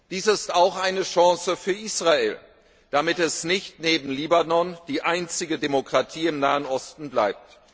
Dies ist auch eine Chance für Israel, damit es nicht neben Libanon die einzige Demokratie im Nahen Osten bleibt.